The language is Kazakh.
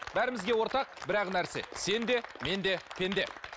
бәрімізге ортақ бір ақ нәрсе сен де мен де пенде